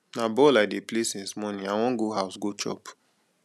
na ball i dey play since morning i wan go house go chop